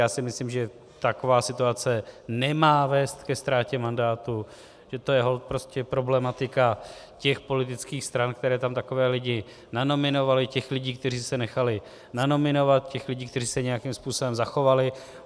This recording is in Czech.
Já si myslím, že taková situace nemá vést ke ztrátě mandátu, že to je holt prostě problematika těch politických stran, které tam takové lidi nanominovaly, těch lidí, kteří se nechali nanominovat, těch lidí, kteří se nějakým způsobem zachovali.